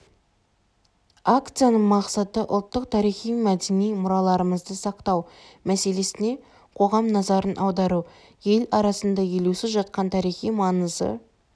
акцияның мақсаты ұлттық тарихи-мәдени мұраларымызды сақтау мәселесіне қоғам назарын аудару ел арасында елеусіз жатқан тарихи маңызы